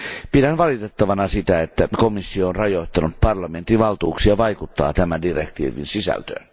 Pidän valitettavana sitä, että komissio on rajoittanut parlamentin valtuuksia vaikuttaa tämän direktiivin sisältöön.